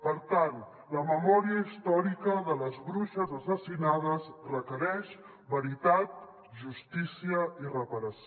per tant la memòria històrica de les bruixes assassinades requereix veritat justícia i reparació